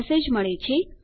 message મળે છે